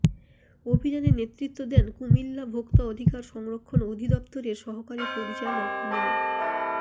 অভিযানে নেতৃত্ব দেন কুমিল্লা ভোক্তা অধিকার সংরক্ষণ অধিদফতরের সহকারী পরিচালক মো